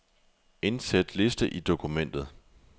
Indsæt liste i dokumentet.